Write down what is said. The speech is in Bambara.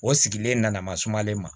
O sigilen nana masumalen ma